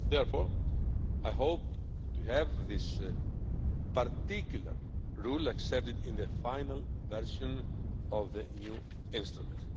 Therefore, I hope to have this particular rule accepted in the final version of the new instrument.